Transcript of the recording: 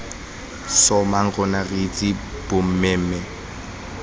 sssoomamang rona re itse bommemme